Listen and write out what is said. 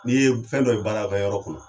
N'i ye fɛn dɔ ye baarakɛyɔrɔ kɔnɔ